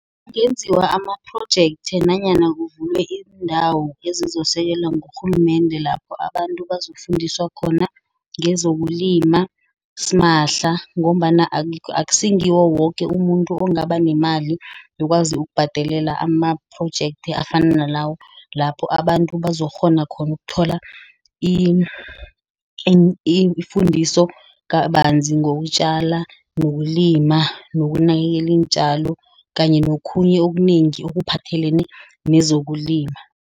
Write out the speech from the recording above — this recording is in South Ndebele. Kungenziwa amaphrojekthi nanyana kuvulwe indawo ezizosekelwa ngurhulumende lapho abantu bazokufundiswa khona ngezokulima simahla. Ngombana akungiwo woke umuntu okungaba nemali yokwazi ukubhadelela amaphrojekthi afana nalawo. Lapho abantu bazokukghona khona ukuthola ifundiso kabanzi ngokutjala, nokulima, nokunakekela iintjalo kanye nokhunye okunengi okuphathelene nezokulima.